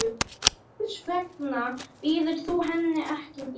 Hvers vegna býður þú henni ekki í mat.